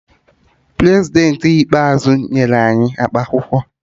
Prezidentị ikpeazụ nyere anyi akap akwụkwọ